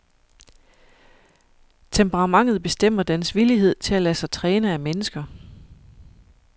Temperamentet bestemmer dens villighed til at lade sig træne af mennesker.